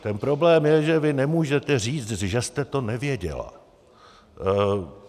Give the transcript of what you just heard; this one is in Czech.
Ten problém je, že vy nemůžete říct, že jste to nevěděla.